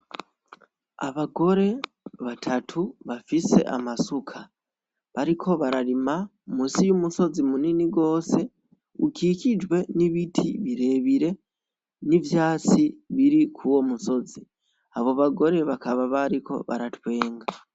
Abagore batatu bafise amasuka bariko bararima musi y'umusozi munini rwose ukikijwe n'ibiti birebire n'ivyatsi biri ku wo musozi abo bagore bakaba bariko baratwenga.